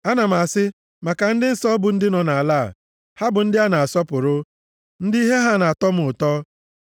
Ana m asị maka ndị nsọ bụ ndị nọ nʼala a, “Ha bụ ndị a na-asọpụrụ, ndị ihe ha nʼatọ m ụtọ.”